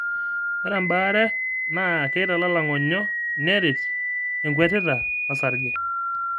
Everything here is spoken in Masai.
ore ina baare naa keitalala ing'onyo neret ekwetita orsarge .